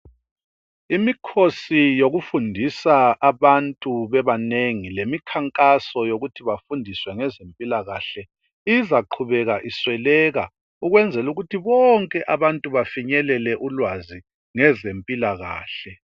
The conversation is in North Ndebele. Imikhosi yokufundisa abantu bebanengi lemikhankaso yokuthi bafundiswe ngezempilakahle izaqhubeka isweleka ukwenzela ukuthi bonke abantu bafinyelele ulwazi ngezempilakahle.